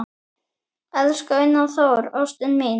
Elsku Einar Þór, ástin mín